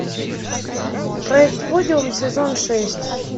проект подиум сезон шесть